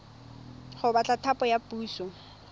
go batla thapo ya puso